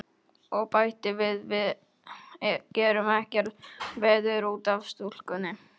Og bætti við: Við gerum ekkert veður út af stúlkunni.